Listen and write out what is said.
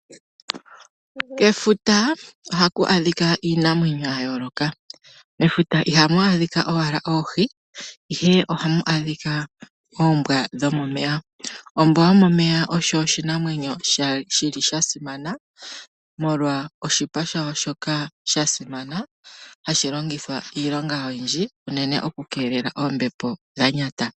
Kefuta ohaku adhika iinamwenyo ya yooloka. Mefuta iha mu adhika owala oohi, ihe oha mu adhika oombwa dhomomeya. Ombwa yomomeya osho oshinamwenyo shi li sha simana, molwa oshipa sha yo shoka sha simana hashi longithwa iilonga oyindji unene oku keelela oombepo dha nyata.